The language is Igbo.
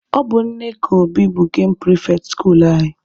Ọ bụ Nneka Obi bụ gemụ pịrịfetị skuluu anyị.